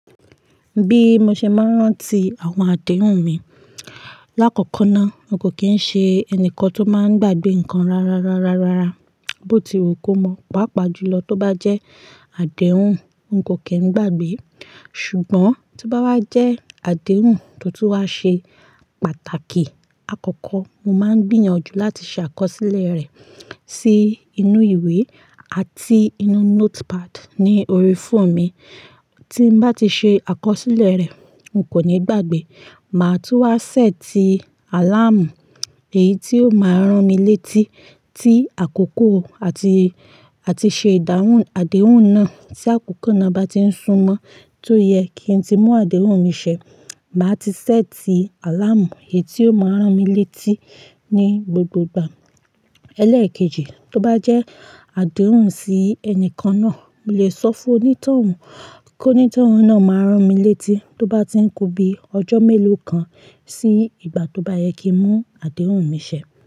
Bí mo ṣe máa ń rántí àwọn àdéhùn mi, lákòókò náà n kò kí ń ṣe ẹnìkan tó máa ń gbàgbé nǹkan rárá, rárá, rárá. Bó ti wù kó mọ̀, pàápàá jùlọ tó bá jẹ́ àdéhùn n kò kí ń gbàgbé. Ṣùgbọ́n tí bá wá jẹ́ àdéhùn tó tún wá ṣe pàtàkì. Àkọ́kọ́ mo máa ń gbìyànjú láti ṣe àkọsílẹ̀ rẹ̀ sí inú ìwé àti inú notepad ní orí fóònù mi. Tí n bá ti ṣe àkọsílẹ̀ rẹ̀ n kò ní gbàgbé. Màá tún wá ṣẹ́ẹ̀tì àláàmù, èyí tí yóò máa rán mi létí tí àkókò àti, àti ṣe ìdáhùn àdéhùn náà tí àkókò náà bá ti ń súnmọ́ tó yẹ kí n ti mú àdéhùn mi ṣẹ. Màá ti ṣẹ́ẹ̀tì àláàmù èyí tí yóò máa rán mi létí ní gbogbo ìgbà. Elẹ́ẹ̀kejì, tó bá jẹ́ àdéhùn sí ẹni kan náà, mi lè sọ fún onítọ̀hún kó ní tọ̀hún náà máa rán mi létí tó bá ti ń ku bìí ọjọ́ mélòó kan sí ìgbà tó bá yẹ kí n mú àdéhùn mi ṣẹ.